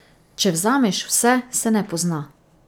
Če vzameš vse, se ne pozna.